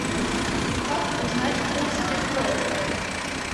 как узнать курс биткоина